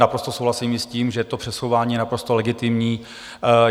Naprosto souhlasím i s tím, že to přesouvání je naprosto legitimní.